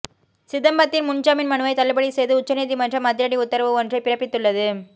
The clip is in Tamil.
சிதம்பத்தின் முன்ஜாமீன் மனுவை தள்ளுபடி செய்து உச்சநீதிமன்றம் அதிரடி உத்தரவு ஒன்றை பிறப்பித்துள்ளது